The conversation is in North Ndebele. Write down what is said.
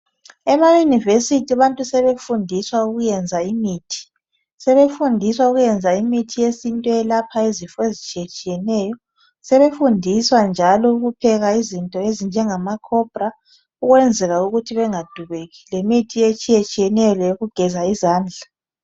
EmaYunivesithi abantu sebefundiswa ukwenza imithi. Sebefundiswa ukwenza imithi yesintu eyelapha izifo ezitshiyetshiyeneyo. Sebefundiswa njalo ukupheka izinto ezinjengama cobra ukwenzela ukuthi bengadubeki lemithi etshiyeneyo leyokugeza izandla.